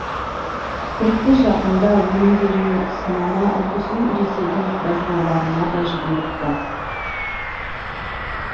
тіпті жақында өнімдерінің сынама үлгісін ресейдің краснодарына да жіберіпті